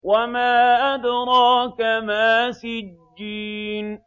وَمَا أَدْرَاكَ مَا سِجِّينٌ